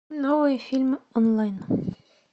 новые фильмы онлайн